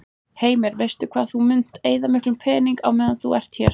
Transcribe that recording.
Heimir: Veistu hvað þú munt eyða miklum peningum á meðan þú ert hérna?